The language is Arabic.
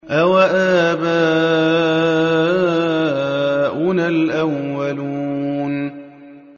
أَوَآبَاؤُنَا الْأَوَّلُونَ